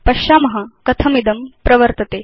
पश्याम कथमिदं प्रवर्तते